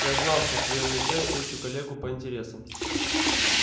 я знал что в твоём лице встречу коллегу по интересам